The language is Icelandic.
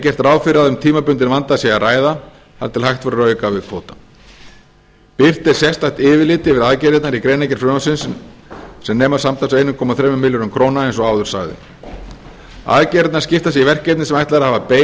gert ráð fyrir að um tímabundinn vanda sé að ræða þar til hægt verður að auka við kvótann birt er sérstakt yfirlit yfir aðgerðirnar í greinargerð frumvarpsins sem nema samtals einn komma þrjú milljarði króna eins og áður sagði aðgerðirnar skiptast í verkefni sem ætlað er að hafa bein